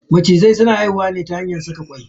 Macizai suna haihuwa ne ta hanyar saka kwai.